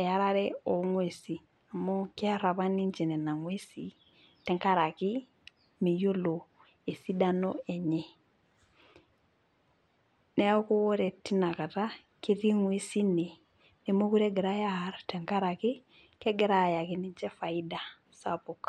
earare oogwesin amu keer apa ninche gwesin tenkaraki meyiolo esidano enye ,neeku ore tinakata ketii ngwesin ine nemookure egirae aar tenkaraki kegira ayaki niche faida sapuk.